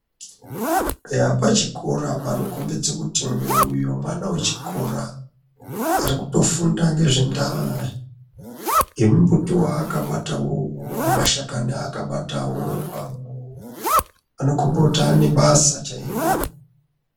Eya pachikora panokombidza kuti eya uyo mwana wechikora ari kutofunda ngezve ndaya yemumbuti waakabatawo uwowo mashakani aakabatawo anokomba kuti ane basa chairo.